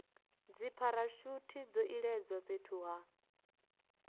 dzipharashuthi zwo iledzwa fhethu ha